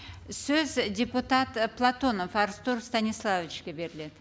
сөз депутат ы платонов артур станиславовичке беріледі